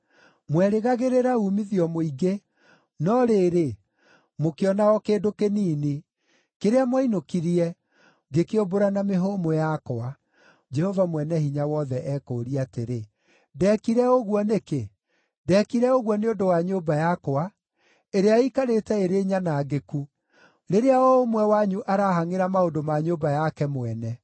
Mwerĩgagĩrĩra uumithio mũingĩ, no rĩrĩ, mũkĩona o kĩndũ kĩnini. Kĩrĩa mwainũkirie, ngĩkĩũmbũra na mĩhũmũ yakwa. Jehova Mwene-Hinya-Wothe ekũũria atĩrĩ, “Ndeekire ũguo nĩkĩ? Ndeekire ũguo nĩ ũndũ wa nyũmba yakwa, ĩrĩa ĩikarĩte ĩrĩ nyanangĩku, rĩrĩa o ũmwe wanyu arahangʼĩra maũndũ ma nyũmba yake mwene.